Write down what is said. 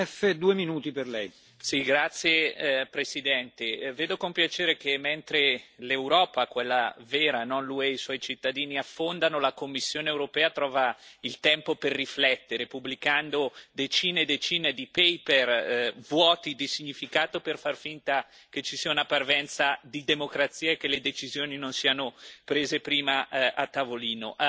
Signor Presidente, onorevoli colleghi, vedo con piacere che mentre l'Europa, quella vera e i suoi cittadini affondano, la Commissione europea trova il tempo per riflettere, pubblicando decine e decine di vuoti di significato per far finta che ci sia una parvenza di democrazia e che le decisioni non siano prese prima a tavolino.